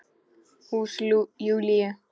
Hús Júlíu.